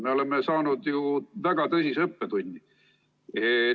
Me oleme saanud ju väga tõsise õppetunni.